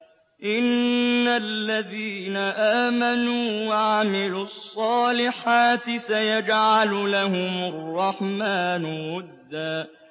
إِنَّ الَّذِينَ آمَنُوا وَعَمِلُوا الصَّالِحَاتِ سَيَجْعَلُ لَهُمُ الرَّحْمَٰنُ وُدًّا